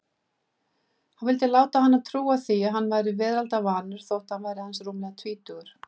Hann vildi láta hana trúa að hann væri veraldarvanur þótt hann væri aðeins rúmlega tvítugur.